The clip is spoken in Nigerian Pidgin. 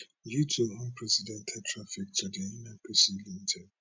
due to unprecedented traffic to di nnpc limited